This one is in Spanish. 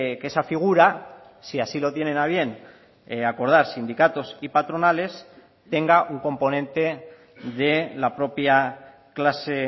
que esa figura si así lo tienen a bien acordar sindicatos y patronales tenga un componente de la propia clase